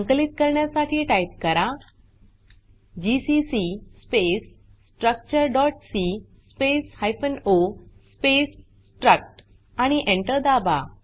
संकलित करण्यासाठी टाइप करा जीसीसी स्पेस structureसी space hyphen o space struct आणि Enter दाबा